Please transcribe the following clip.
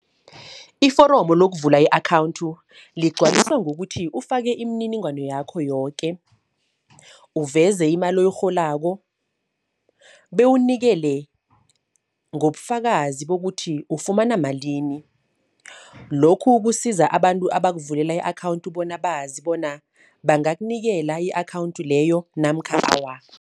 Iforomo lokuvula i-akhawunthi, ligcwaliswa ngokuthi ufake imininingwano yakho yoke. Uveze imali oyirholako, bewukunikele ngobufakazi bokuthi ufumana malini. Lokhu kusiza abantu abakuvulela i-akhawunthi bona bazi bona bangakunikela i-akhawunthi leyo namkha awa.